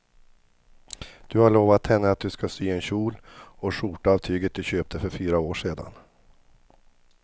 Du har lovat henne att du ska sy en kjol och skjorta av tyget du köpte för fyra år sedan.